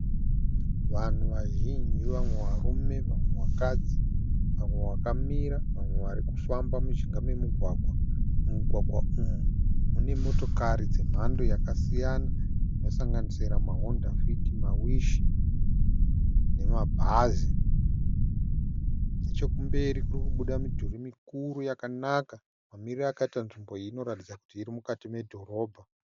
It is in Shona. Vanhu vazhinji vamwe varume vamwe vakadzi, vamwe vakamira vamwe varikufamba mujinga memugwagwa. Mumugwagwa umu munemotokari dzemhando yakasiyana dzinosanganisira mahondafiti, mawishi nemabhazi. Nechokumberi kurikubuda midhuri mikuru yakanaka. Mamiriro akaita nzvimbo iyi inoratidza kut irimukati medhorobha.